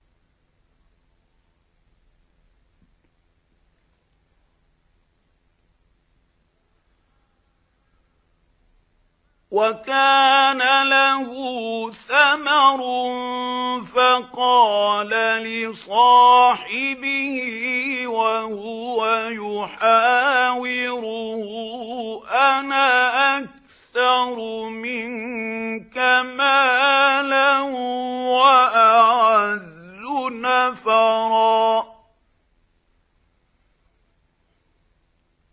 وَكَانَ لَهُ ثَمَرٌ فَقَالَ لِصَاحِبِهِ وَهُوَ يُحَاوِرُهُ أَنَا أَكْثَرُ مِنكَ مَالًا وَأَعَزُّ نَفَرًا